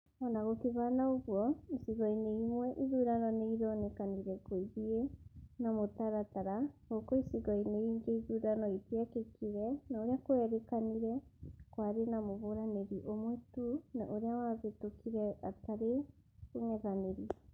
Ona gũkĩhana ũguo, icigo-inĩ imwe ithurano nĩironekanire gũithie na mũtaratara gũkũ icigo-inĩ ingĩ ithurano itiekĩkĩre na ũria kwerĩkanire kwarĩ na mũhũranĩri ũmwe tu na ũrĩa wahĩtukire hatarĩ ũng'ethanĩri